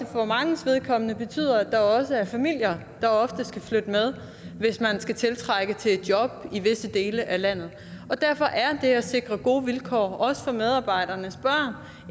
for manges vedkommende betyder at der også er familier der ofte skal flytte med hvis man skal tiltrække arbejdskraft til et job i visse dele af landet derfor er det at sikre gode vilkår også for medarbejdernes børn